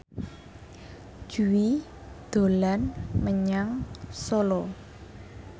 Jui dolan menyang Solo